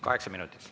Kaheksa minutit.